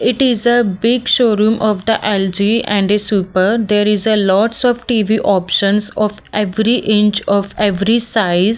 it is a big showroom of the L_G and the super there is a lots of T_V options of every inch of every size.